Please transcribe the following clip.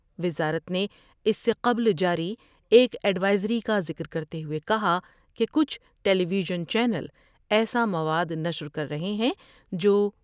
وزارت نے اس سے قبل جاری ایک ایڈوائزری کا ذکر کرتے ہوۓ کہا کہ کچھ ٹیلی ویژن چینل ایسا مواد نشر کر رہے ہیں جو